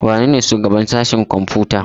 Wanene shugaban sashen kwamfuta?